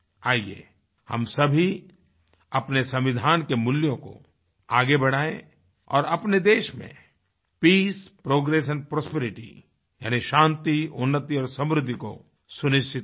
आइये हम सभी अपने संविधान के मूल्यों को आगे बढ़ाएँ और अपने देश में पीस प्रोग्रेशन प्रॉस्पेरिटी यानी शांति उन्नति और समृद्धि को सुनिश्चित करें